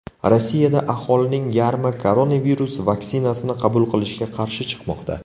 Rossiyada aholining yarmi koronavirus vaksinasini qabul qilishga qarshi chiqmoqda.